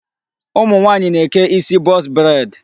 Ụmụ nwaanyị na-eke isi box braid.